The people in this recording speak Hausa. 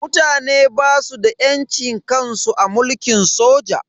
Mutane basu da yancin kansu a mulkin soja.